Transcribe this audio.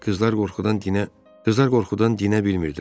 Qızlar qorxudan dinə qızlar qorxudan dinə bilmirdilər.